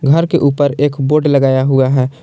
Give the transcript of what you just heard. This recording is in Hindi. घर के ऊपर एक बोड लगाया हुआ है।